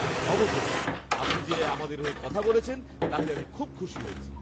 অবশেষে! আপনি যে আমাদের হয়ে কথা বলেছেন তাতে আমি খুব খুশি হয়েছি।